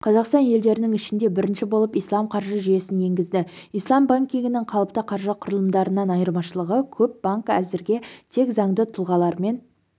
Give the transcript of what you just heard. қазақстан елдерінің ішінде бірінші болып ислам қаржы жүйесін енгізді ислам банкингінің қалыпты қаржы құрылымдарынан айырмашылығы көп банк әзірге тек заңды тұлғалармен